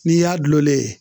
N'i y'a dulonlen ye